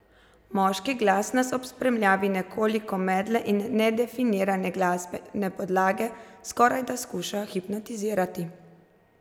Moški glas nas ob spremljavi nekoliko medle in nedefinirane glasbene podlage skorajda skuša hipnotizirati.